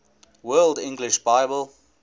world english bible